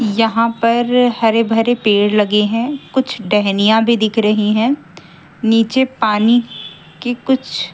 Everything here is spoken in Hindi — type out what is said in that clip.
यहां पर हरे भरे पेड़ लगे हैं कुछ डहनियां भी दिख रही हैं नीचे पानी की कुछ--